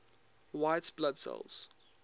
white blood cells